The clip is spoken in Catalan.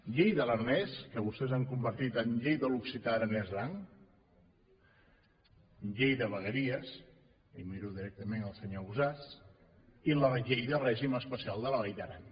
llei de l’aranès que vostès han convertit en llei de l’occità aranès aran llei de vegueries i miro directament el senyor ausàs i la llei de règim especial de la vall d’aran